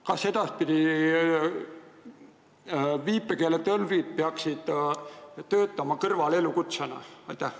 Kas edaspidi peaks viipekeeletõlk olema kõrvalelukutse?